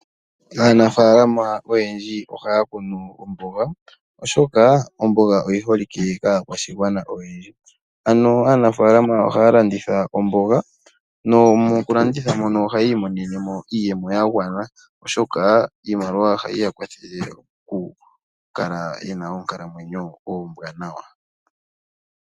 Aanafaalama oyendji ohaya kunu omboga , oshoka omboga oyi holike kaakwashigwana oyendji . Ohaya landitha omboga, nomokulanditha mono ohaya imonenemo iiyemo mbyono yagwana, oshoka iimaliwa ohayi ya kwathele okukala yena oonkalamwenyo oombwanawa.